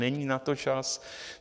Není na to čas.